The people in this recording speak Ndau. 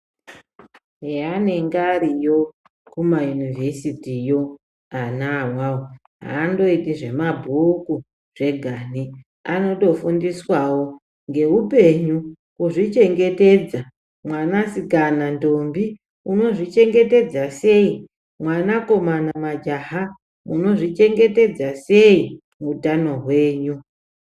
Heanenge ariyo kumayunivhesitiyo awawo, haandoiti zvemabhuku zvegani, anotofundiswawo ngeupenyu, kuzvichengetedza. Mwanasikana ndombi, unozvichengetedza sei, mwanakomana majaha unozvichengetedza sei utano hwenyu.